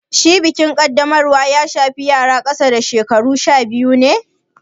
Shin bikin Kaddamarwa ya shafi yara ƙasa da shekaru sha biyu ne?